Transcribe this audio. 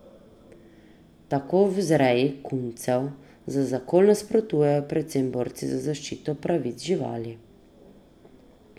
Tako vzreji kuncev za zakol nasprotujejo predvsem borci za zaščito pravic živali.